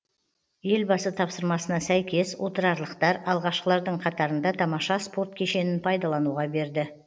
елбасы тапсырмасына сәйкес отырарлықтар алғашқылардың қатарында тамаша спорт кешенін пайдалануға берді